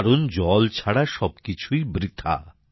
কারণ জল ছাড়া সবকিছুই বৃথা